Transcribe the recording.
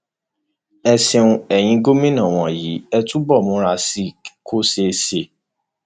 ẹ ṣeun eyín gómìnà wọnyí ẹ túbọ múra sí i kó ṣeé ṣe